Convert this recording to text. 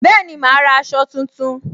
Bẹẹni, ma ra aṣọ tuntun